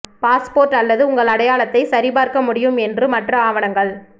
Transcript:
passport அல்லது உங்கள் அடையாளத்தை சரிபார்க்க முடியும் என்று மற்ற ஆவணங்கள்